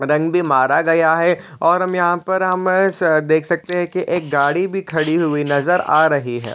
रंग भी मारा गया है और हम यहाँ पर हम देख सकते है कि एक गाड़ी भी खड़ी हुई नज़र आ रही हैं ।